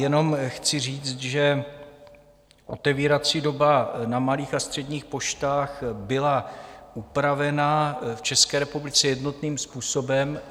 Jenom chci říct, že otevírací doba na malých a středních poštách byla upravena v České republice jednotným způsobem.